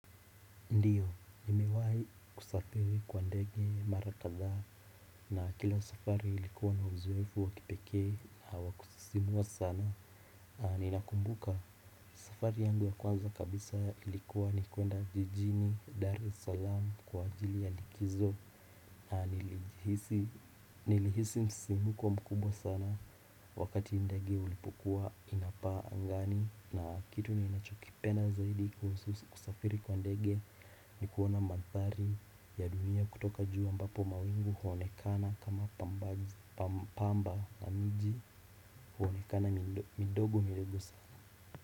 Ndiyo, nimewai kusafiri kwa ndege mara kadha na kila safari ilikuwa na uzoefu wakipekee hawa kusisimua sana. Ninakumbuka, safari yangu ya kwanza kabisa ilikuwa ni kuenda jijini Dar es Salaam kwa ajili ya likizo. Na nilihisi msisimuko mkubwa sana wakati ndege ulipokua inapa angani na kitu ni nachokipenda zaidi kuhusu kusafiri kwa ndege. Nikuona manthari ya dunia kutoka juu ambapo mawingu huonekana kama pamba na mji huonekana midogo midogo sana.